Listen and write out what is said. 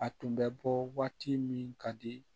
A tun bɛ bɔ waati min ka di